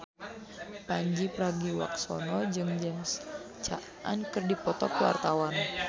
Pandji Pragiwaksono jeung James Caan keur dipoto ku wartawan